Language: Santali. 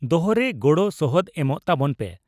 ᱫᱚᱦᱚ ᱨᱮ ᱜᱚᱲᱚ ᱥᱚᱦᱚᱫ ᱮᱢᱚᱜ ᱛᱟᱵᱚᱱ ᱯᱮ ᱾